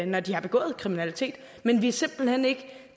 når de har begået kriminalitet men vi er simpelt hen ikke